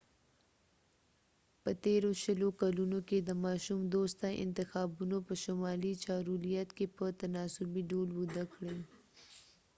په تیرو شلو کلونو کې د ماشوم دوسته انتخابونو په شمالي چارولیت کې په تناسبي ډول وده کړې